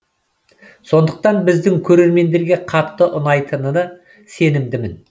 сондықтан біздің көрермендерге қатты ұнайтынына сенімдімін